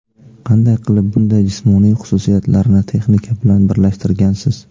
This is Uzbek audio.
Qanday qilib bunday jismoniy xususiyatlarni texnika bilan birlashtirgansiz?